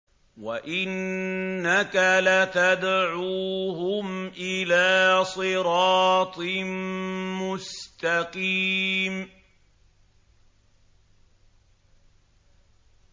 وَإِنَّكَ لَتَدْعُوهُمْ إِلَىٰ صِرَاطٍ مُّسْتَقِيمٍ